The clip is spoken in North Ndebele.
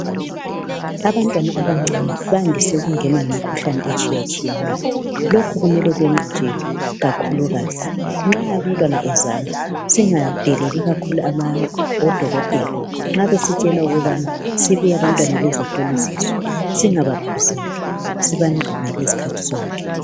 Abantwana abancane bandise ukungenwa yimikhuhlane etshiyatshiyeneyo. Lokhu kumele kwenqatshelwe kakhulukazi Nxa umntwana ezalwa singadeleli kakhulu odokotela nxa besitshela ukubana sibuye abantwana bezohlolisiswa singabaphuzeli sibanqabele izikhathizonke